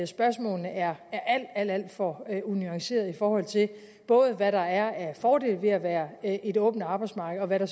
spørgsmålene er alt alt for unuancerede i forhold til både hvad der er af fordele ved at være et åbent arbejdsmarked og hvad der